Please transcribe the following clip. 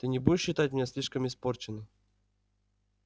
ты не будешь считать меня слишком испорченной